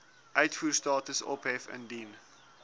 uitvoerstatus ophef indien